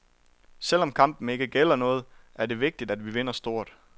Selv om kampen ikke gælder noget, er det vigtigt at vi vinder stort.